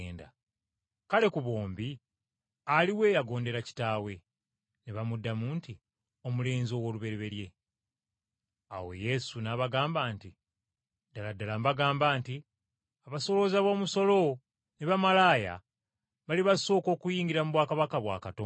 “Kale, ku bombi aliwa eyagondera kitaawe?” Ne bamuddamu nti, “Omulenzi ow’olubereberye.” Awo Yesu n’abagamba nti, “Ddala ddala mbagamba nti, abasolooza b’omusolo ne bamalaaya balibasooka okuyingira mu bwakabaka bwa Katonda.